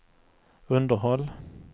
underhåll